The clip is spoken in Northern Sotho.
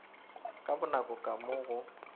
ka bonako ka mo go